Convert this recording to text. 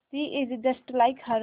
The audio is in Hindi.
she is just like her